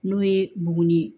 N'o ye buguni ye